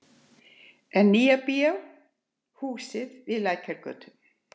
Nýja bíó húsinu við Lækjargötu.